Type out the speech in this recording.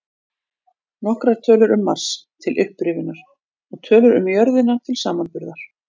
Nokkrar tölur um Mars, til upprifjunar, og tölur um jörðina til samanburðar: